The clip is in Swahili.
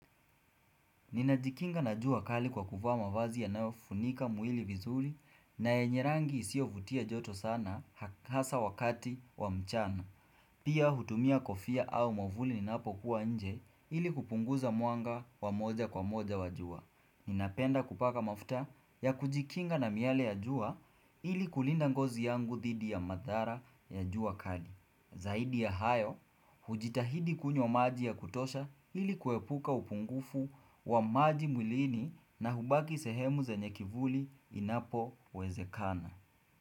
Ninajikinga na jua kali kwa kuvaa mavazi yanayo funika mwili vizuri na yenye rangi isiyo vutia joto sana hasa wakati wa mchana. Pia hutumia kofia au mwamvuli ninapokuwa nje ili kupunguza mwanga wa moja kwa moja wa jua. Ninapenda kupaka mafuta ya kujikinga na miale ya jua ili kulinda ngozi yangu dhidi ya madhara ya jua kali Zaidi ya hayo, hujitahidi kunywa maji ya kutosha ili kuepuka upungufu wa maji mwilini na hubaki sehemu zenyekivuli inapo wezekana.